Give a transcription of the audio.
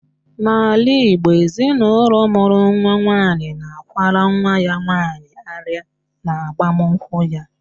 N'ala Igbo, ezinụlọ mụrụ nwaanyị na-akwara nwa ya nwaanyị arịa n'agbamụnkwụ ya